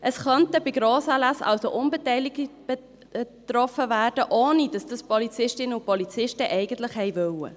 Es könnten bei Grossanlässen also Unbeteiligte betroffen sein, ohne dass die Polizistinnen und Polizisten das eigentlich wollten.